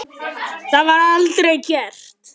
Það var aldrei gert.